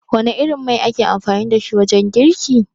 Wana irin mai ake amfani dashi wajen girki?